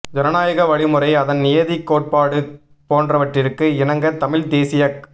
ஐனநாயக வழி முறை அதன் நியதி கோட்பாடு போன்றவற்றிற்கு இணங்க தமிழ் தேசியக்